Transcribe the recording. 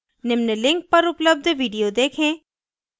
निम्न link पर उपलब्ध video देखें